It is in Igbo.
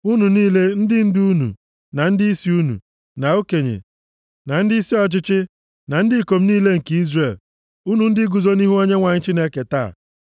Unu niile, ndị ndu unu, na ndịisi unu, na okenye, na ndịisi ọchịchị, na ndị ikom niile nke Izrel, unu ndị guzo nʼihu Onyenwe anyị Chineke taa,